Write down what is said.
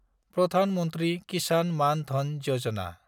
Pradhan Mantri Kisan Maan Dhan Yojana